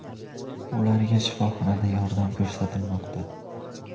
Ularga shifoxonada yordam ko‘rsatilmoqda.